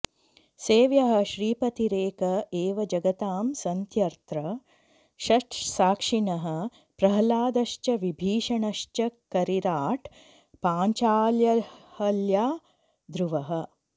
सेव्यः श्रीपतिरेक एव जगतां सन्त्यत्र षट् साक्षिणः प्रह्लादश्च विभीषणश्च करिराट् पाञ्चाल्यहल्या ध्रुवः